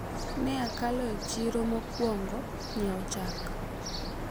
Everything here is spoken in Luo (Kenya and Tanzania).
ne akalo e chiro mokwongo nyiewo chak